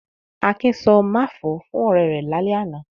Akin sọ "máfọ̀ọ́" fún ọ̀rẹ́ rẹ̀ lálẹ́ àná.